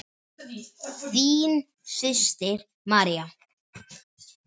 Þín systir, María.